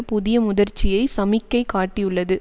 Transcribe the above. புதிய முதிர்ச்சியை சமிக்கை காட்டியுள்ளது